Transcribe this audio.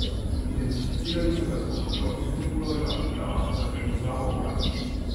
Identificirali so ga s pomočjo Interpolovega programa za prepoznavo obrazov.